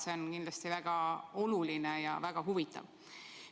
See on kindlasti väga oluline ja väga huvitav.